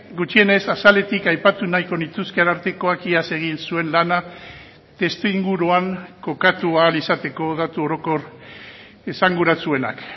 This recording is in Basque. gutxienez azaletik aipatu nahiko nituzke arartekoak iaz egin zuen lana testuinguruan kokatu ahal izateko datu orokor esanguratsuenak